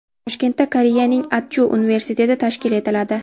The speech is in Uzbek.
Toshkentda Koreyaning Adju universiteti tashkil etiladi.